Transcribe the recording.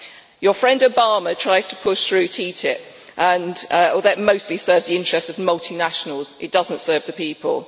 Your friend Obama tries to push through TTIP, and that mostly serves the interests of multinationals. It does not serve the people.